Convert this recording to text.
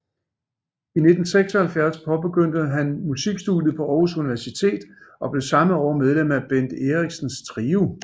I 1976 påbegyndte han musikstudiet på Århus Universitet og blev samme år medlem af Bent Eriksens trio